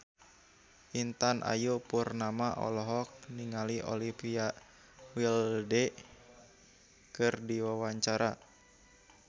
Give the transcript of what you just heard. Intan Ayu Purnama olohok ningali Olivia Wilde keur diwawancara